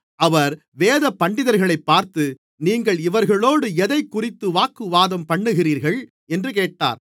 அவர் வேதபண்டிதர்களைப் பார்த்து நீங்கள் இவர்களோடு எதைக்குறித்து வாக்குவாதம்பண்ணுகிறீர்கள் என்று கேட்டார்